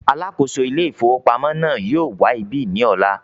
“ alákòóso Ilé-ìfowópamọ́” náà yóò wá ibí ní ọ̀la.